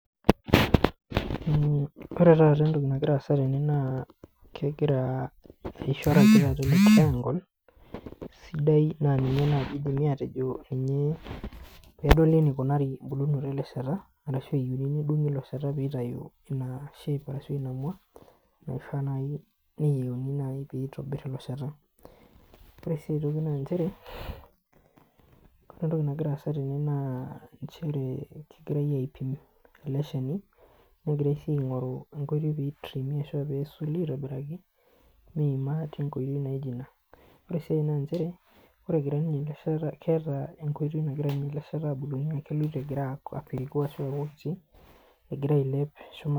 Ore taata entoki nagira aasa tene naa kegira aishora triangle sidai naa ninye eidimi aatejo ninye pee edoli eneikunari embulunoto ele sheta ashu eyieuni nedung'i ilo sheta pee eitayu ina shape ashu ina mwa naai nayiunoyu pee eitobirr ilo sheta. Ore sii aitoki naa nchere, ore entoki nagira aasa tene naa nchere kegirai aipim ele shani negirai sii aaing'oru enkoitoi pee eitriimi ashu aa peesuli aitobiraki tenkoitoi naaijo ina. Ore sii enkai, nchere keetai enkoitoi nagira ele sheta abulunye naa kegira apiriku ashu egira ailep shumata